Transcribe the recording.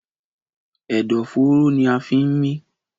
Ẹ̀dọ̀fóró ní a fí ń mí.